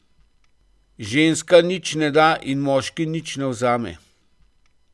Ženska nič ne da in moški nič ne vzame.